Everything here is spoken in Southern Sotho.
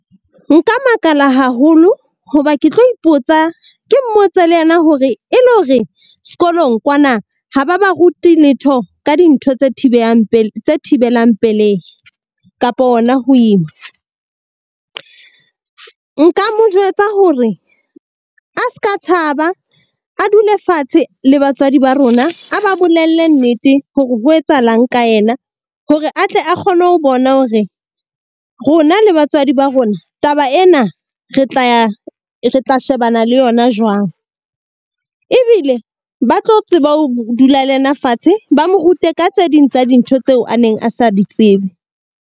Nka makala haholo hoba ke tlo ipotsa ke mmotse le yena hore e le hore sekolong kwana ha ba ba rute letho ka dintho tse tse thibelang pelehi kapa hona ho ima. Nka mo jwetsa hore a seka tshaba a dule fatshe le batswadi ba rona, a ba bolelle nnete hore ho etsahalang ka yena hore atle a kgone ho bona hore rona le batswadi ba rona taba ena, re tla ya re tla shebana le yona jwang. Ebile ba tlo tseba ho dula le yena fatshe ba mo rute ka tse ding tsa dintho tseo a neng a sa di tsebe.